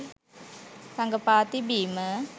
රඟපා තිබීම.